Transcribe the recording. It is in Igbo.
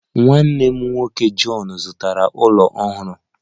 Nwanne m nwoke John zụtara ụlọ ọhụrụ